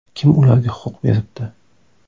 Kim ularga huquq beribdi?